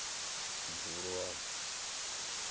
dzivhuluwa